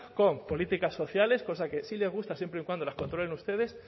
con políticas sociales cosa que sí le gusta siempre y cuando las controlen ustedes